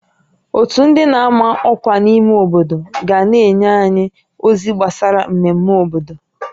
Ótú ndị n'ama ọkwa n'ime obodo ga na-enye anyị ozi gbasara mmemme obodo